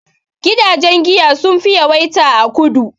Gidajen giya sun fi yawaita a kudu